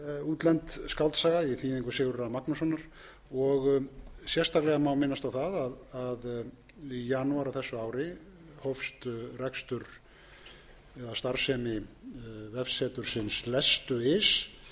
útlend skáldsaga í þýðingu sigurðar a magnússonar sérstaklega má minnast á það að í janúar á þessu ári hófst rekstur eða starfsemi vefsetursins lestu punktur is